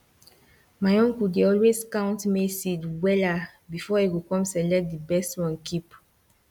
my uncle dey always count maize seed wella before e go com select di best one keep